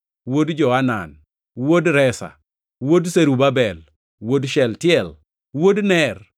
wuod Joanan, wuod Resa, wuod Zerubabel, wuod Shealtiel, wuod Ner,